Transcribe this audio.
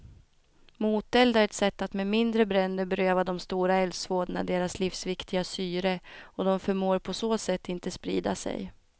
Moteld är ett sätt att med mindre bränder beröva de stora eldsvådorna deras livsviktiga syre och de förmår på så sätt inte sprida sig.